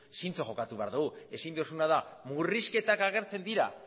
zintzo jokatu behar dugu ezin duzuna da murrizketak agertzen dira